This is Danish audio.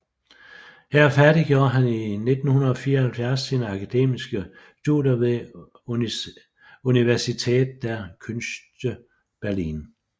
Her færdiggjorde han i 1974 sine akademiske studer ved Universität der Künste Berlin